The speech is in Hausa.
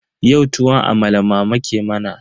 Yau tuwon amala mama ke mana.